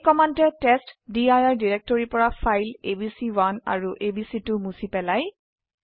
এই কমান্ডে টেষ্টডিৰ ডিৰেক্টৰি পৰা ফাইল এবিচি1 আৰু এবিচি2 মুছি পেলাই